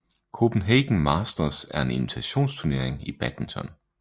Copenhagen Masters er en invitationsturnering i badminton